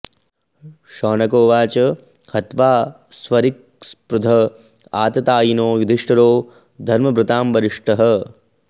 शौनक उवाच हत्वा स्वरिक्थस्पृध आततायिनो युधिष्ठिरो धर्मभृतां वरिष्ठः